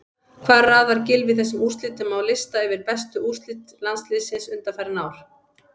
Hvar raðar Gylfi þessum úrslitum á lista yfir bestu úrslit landsliðsins undanfarin ár?